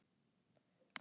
Hvað erum við að þvælast?